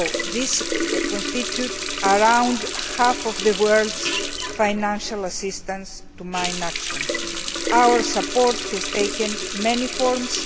This constitutes around half of the world's financial assistance to mine action. Our support has taken many forms.